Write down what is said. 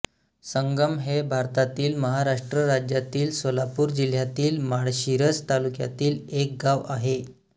संगम हे भारतातील महाराष्ट्र राज्यातील सोलापूर जिल्ह्यातील माळशिरस तालुक्यातील एक गाव आहे